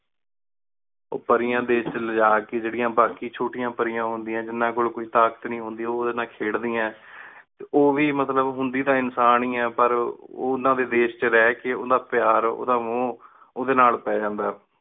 T ਪੇਰ੍ਯਾਂ ਦੇਸ਼ ਚ ਲਿਜਾ ਕੀ ਜੇੜੀਆਂ ਬਾਕੀ ਛੋਟੀਆਂ ਪੜ੍ਹਿਆ ਹੁੰਦੀਆਂ ਜਿੰਨਾ ਕੋਲ ਕੋਈ ਤਾਕਤ ਨੀ ਹੁੰਦੀ ਓ ਓਦੇ ਨਾਲ ਖੇਡਦੀ ਹੈ ਤੇ ਉਹ ਵੀ ਮਤਲਬ ਹੁੰਦੀ ਟੀ ਇਨਸਾਨ ਹੀ ਆਯ ਪਰ ਓ ਉਨਾ ਡੀ ਦੇਸ਼ ਚ ਰਹ ਕੀ ਉੜਾ ਪ੍ਯਾਰ ਉਂਦਾ ਮੋਹ ਓਹਦੇ ਨਾਲ ਪੈ ਜਾਂਦਾ ਹੈ